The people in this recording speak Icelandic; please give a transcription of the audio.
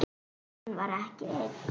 Hann var ekki einn.